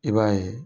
I b'a ye